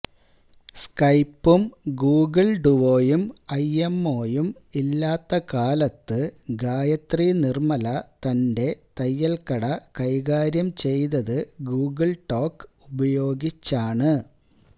സ്കൈപ്പും Google ഡുവോയും ഐഎംഓയും ഇല്ലാത്ത കാലത്ത് ഗായത്രി നിർമല തന്റെ തയ്യൽക്കട കൈകാര്യം ചെയ്തത് ഗൂഗിൾ ടോക്ക് ഉപയോഗിച്ചാണ്